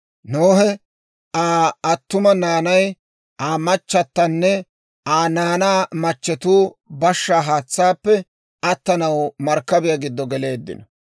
Nohe, Aa attuma naanay, Aa machatanne Aa naanaa machchetuu bashshaa haatsaappe attanaw markkabiyaa giddo geleeddino.